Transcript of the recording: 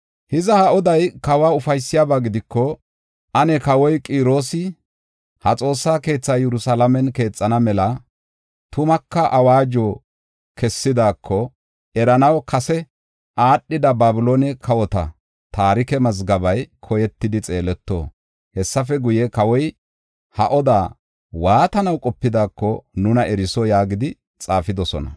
“Hiza ha oday kawa ufaysiyaba gidiko, ane kawoy Qiroosi ha Xoossa keethaa Yerusalaamen keexana mela, tumaka awaajuwa kessidaako eranaw kase aadhida Babiloone kawota taarike mazgabey koyetidi xeeleto. Hessafe guye, kawoy ha oda waatanaw qopidaako nuna eriso” yaagidi xaafidosona.